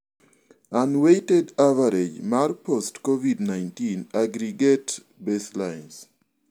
Unweighted average mar post COVID-19 aggregate baselines.